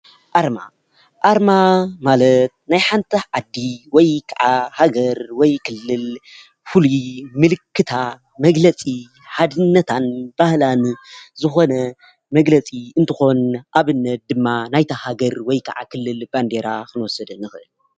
ኣርማ፡- ኣርማ ማለት ናይ ሓንቲ ዓዲ ወይ ከዓ ሃገር ወይ ክልል ፍሉይ ምልክታ መግለፂ ሓድነታን ባህላን ዝኾነ መግለፂ እንትኾን ኣብነት ድማ ናይታ ሃገር ወይ ከዓ ክልል ባንዴራ ኽንወስድ ንኽእል፡፡